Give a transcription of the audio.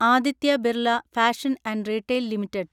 Aditya Birla fashion and retail limited